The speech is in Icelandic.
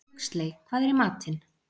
Huxley, hvað er í matinn?